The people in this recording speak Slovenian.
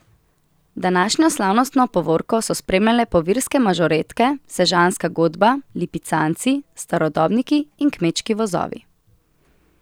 Današnjo slavnostno povorko so spremljale povirske mažoretke, sežanska godba, Lipicanci, starodobniki in kmečki vozovi.